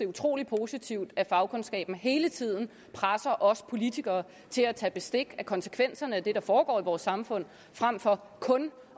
utrolig positivt at fagkundskaben hele tiden presser os politikere til at tage bestik af konsekvenserne af det der foregår i vores samfund frem for kun